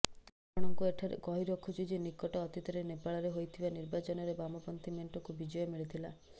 ଆପଣଙ୍କୁ ଏଠାରେ କହି ରଖୁଛୁ ଯେ ନିକଟ ଅତୀତରେ ନେପାଳରେ ହୋଇଥିବା ନିର୍ବାଚନରେ ବାମପନ୍ଥୀ ମେଣ୍ଟକୁ ବିଜୟ ମିଳିଥିଲା